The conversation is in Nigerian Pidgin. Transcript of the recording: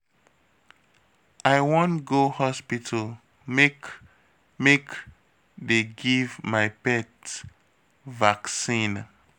I wan go hospital make make dey give my pet vaccine